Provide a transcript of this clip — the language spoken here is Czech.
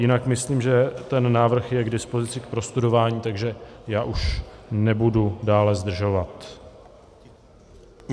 Jinak myslím, že ten návrh je k dispozici k prostudování, takže já už nebudu dále zdržovat.